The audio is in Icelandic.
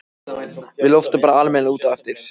Við loftum bara almennilega út á eftir.